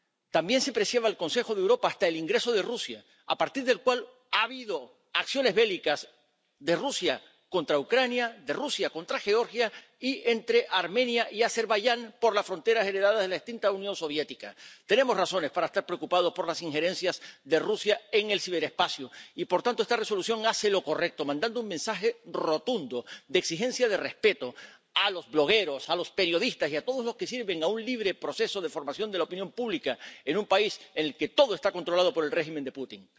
También se presiona al Consejo de Europa hasta el ingreso de Rusia, a partir del cual ha habido acciones bélicas de Rusia contra Ucrania, de Rusia contra Georgia y entre Armenia y Azerbaiyán por las fronteras heredadas de la extinta Unión Soviética. Tenemos razones para estar preocupados por las injerencias de Rusia en el ciberespacio y, por tanto, esta Resolución hace lo correcto, mandando un mensaje rotundo de exigencia de respeto a los blogueros, a los periodistas y a todos los que sirven a un libre proceso de formación de la opinión pública en un país el que todo está controlado por el régimen de Putin.